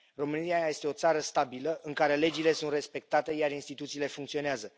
România este o țară stabilă, în care legile sunt respectate, iar instituțiile funcționează.